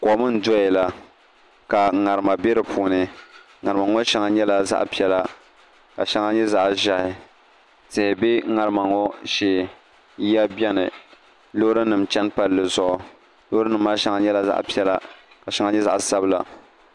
Kom n doya la ka ŋarima bɛ di puuni ŋarima ŋo shɛŋa nyɛla zaɣ piɛla ka shɛŋa nyɛ zaɣ ʒiɛhi tihi bɛ ŋarima ŋo shee yiya biɛni loori nim chɛni palli zuɣu loori nim maa shɛŋa nyɛla zaɣ piɛla ka shɛŋa nyɛ zaɣ sabila